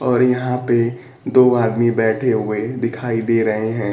और यहां पे दो आदमी बैठे हुए दिखाई दे रहे हैं।